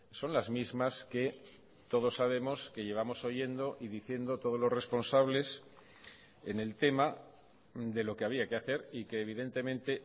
son las mismas que todos sabemos que llevamos oyendo y diciendo todos los responsables en el tema de lo que había que hacer y que evidentemente